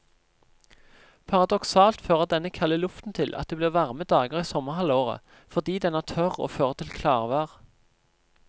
Paradoksalt fører denne kalde luften til at det blir varme dager i sommerhalvåret, fordi den er tørr og fører til klarvær.